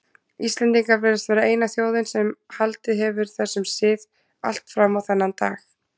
Íslendingar virðast vera eina þjóðin sem haldið hefur þessum sið allt fram á þennan dag.